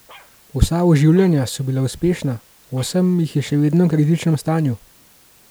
Vsa oživljanja so bila uspešna, osem jih je še vedno v kritičnem stanju.